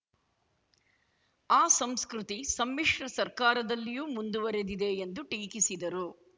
ಆ ಸಂಸ್ಕೃತಿ ಸಮ್ಮಿಶ್ರ ಸರ್ಕಾರದಲ್ಲಿಯೂ ಮುಂದುವರಿದಿದೆ ಎಂದು ಟೀಕಿಸಿದರು